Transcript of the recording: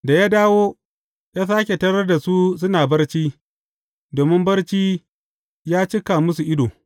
Da ya dawo, ya sāke tarar da su suna barci, domin barci ya cika musu ido.